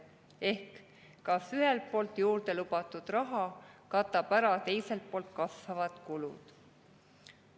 Ehk kas juurde lubatud raha katab ära kasvavad kulud?